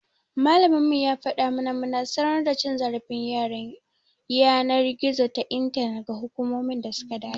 Malaminmu ya fada mana muna sanar da cin zarafin yanar gizo ta intanet ga hukumomin da suka dace.